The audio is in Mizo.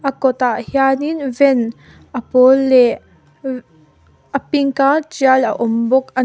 a kawt ah hianin van a pawl leh vv a pink a tial a awm bawk an--